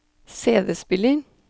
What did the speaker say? CD-spiller